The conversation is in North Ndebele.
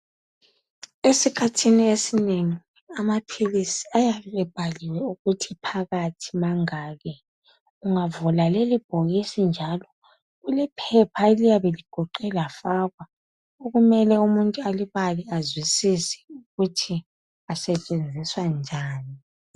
Esikhathini esinengi amaphilisi ayabe ebhaliwe ukuthi phakathi mangaki ungavula lelibhokisi njalo kulephepha eliyabe ligoqwe lafakwa okumele umuntu alibale azwisiswe ukuthi asetshenziswa njani.